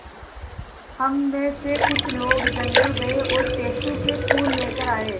हम मे से कुछ लोग जंगल गये और टेसु के फूल लेकर आये